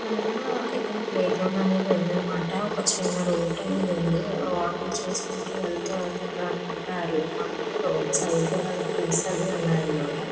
ఇక్కడ ఇక్కడ ప్లేగ్రౌండ్ అనేది ఉన్నదన్నమాట. ఒక చిన్న రోడ్ అనేది ఉంది. వాకింగ్ చేసుకుంటూ వెళ్తే అక్కడ అనుకుంటా రోడ్ సైడ్ ట్రీస్ అవి ఉన్నాయి అన్నమాట.